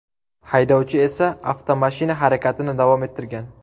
Haydovchi esa avtomashina harakatini davom ettirgan.